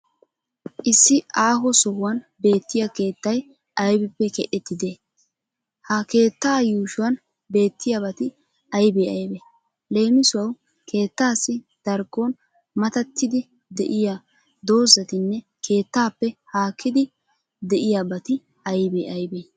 Issi aaho sohuwan beettiya keettay aybippe keexettidaaee ? Ha keettaa yuushuwan beettiyaabati aybe aybee? Leem. Keettaassi darkkon matattidi de'iya dozatinne Keettaappe haakkidi beettiyabati aybee aybee?